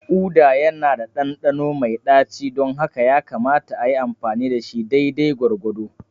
Uda yana da ɗanɗano mai ɗaci don haka yakamata a yi amfani da shi daidai gwargwado.